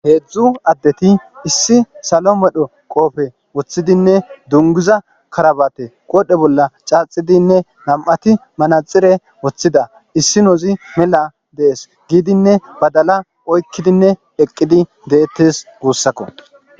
heedzdzu addeti issi salo medho qoofe woththidinne dunguza karabate qoodhe bolla caaxidinne nam7ati manaxire woththida issi noozi mela dees giidinne badala oykkidinne eqqidi deettes guussakko